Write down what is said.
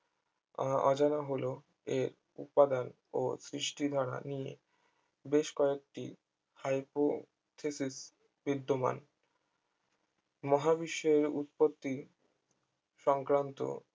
আহ অজানা হলো এর উপাদান ও সৃষ্টি ধারা নিয়ে বেশ কয়েকটি hypothesis বিদ্যমান মহাবিশ্বের উৎপত্তি সংক্রান্ত